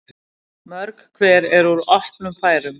Mörg hver úr opnum færum.